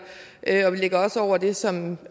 og vi ligger også over det som